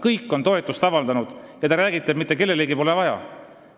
Kõik on toetust avaldanud, aga teie räägite, et mitte kellelegi pole seda vaja.